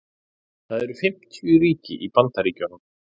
það eru fimmtíu ríki í bandaríkjunum